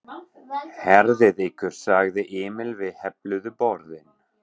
Herðið ykkur sagði Emil við hefluðu borðin.